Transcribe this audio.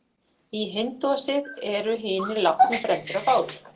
Í hindúasið eru hinir látnu brenndir á báli.